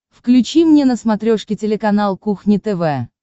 включи мне на смотрешке телеканал кухня тв